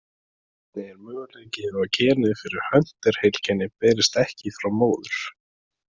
Einnig er möguleiki á að genið fyrir Hunter-heilkenni berist ekki frá móður.